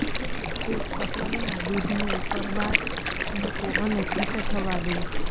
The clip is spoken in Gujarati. એક તપેલીમાં દૂધને ઉકળવા મૂકો અને ઘટ્ટ થવા દો